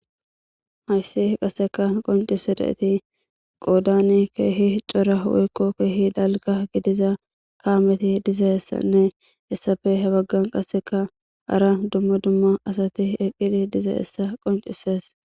hayssi qaseka qoncise da7eti qoodani keehi cora ho7ekko keehi dalga gidiza kaameti diza essanne essafe he baggan qaseka ara dumma dumma asati eqqili diza essa qoncises